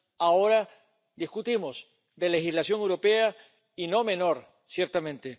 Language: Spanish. ahora discutimos de legislación europea, y no menor, ciertamente.